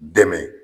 Dɛmɛ